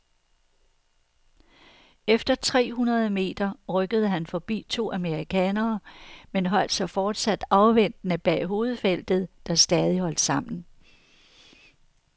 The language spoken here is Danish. Efter tre hundrede meter rykkede han forbi to amerikanere, men holdt sig fortsat afventende bag hovedfeltet, der stadig holdt sammen.